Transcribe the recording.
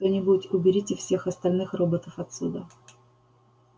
эй кто-нибудь уберите всех остальных роботов отсюда